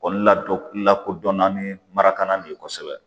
Kɔli la dɔ lakodɔnna ni marakalan de ye kosɛbɛ